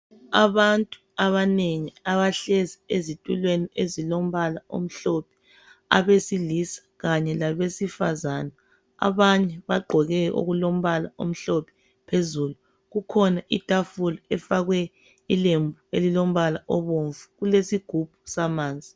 Abantu abanengi abahlezi ezitulweni ezilombala omhlophe abesilisa kanye labesifazana abanye bagqoke okulombala omhlophe phezulu kukhona itafula efakwe ilembu elilombala obomvu kulesigubhu samanzi.